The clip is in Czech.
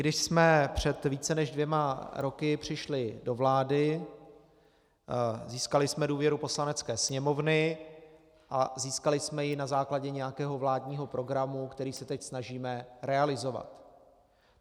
Když jsme před více než dvěma roky přišli do vlády, získali jsme důvěru Poslanecké sněmovny a získali jsme ji na základě nějakého vládního programu, který se teď snažíme realizovat.